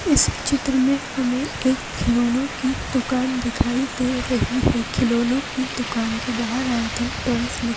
इस चित्र मे हमे एक खिलौनों की दुकान दिखाई दे रही है खिलौनों की दुकान के बाहर आइटम टॉयस लिख--